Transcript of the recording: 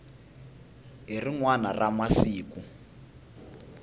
hi rin wana ra masiku